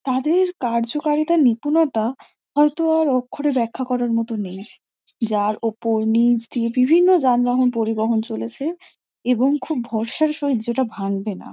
তাদের কার্য কারিতার নিপুণতা হয়তো আর অক্ষরে ব্যাখ্যা করার মতো নেই। যার ওপর নীচে দিয়ে বিভিন্ন যানবাহন পরিবহন চলেছে এবং খুব ভরসার সহিত যেটা ভাঙবে না।